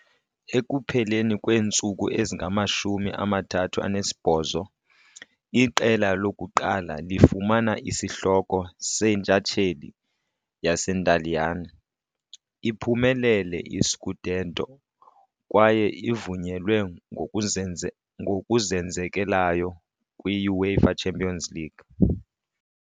Ekupheleni kweentsuku ezingamashumi amathathu anesibhozo, iqela lokuqala lifumana isihloko seNtshatsheli yaseNtaliyane, iphumelele i-scudetto, kwaye ivunyelwe ngokuzenzekelayo kwi- UEFA Champions League.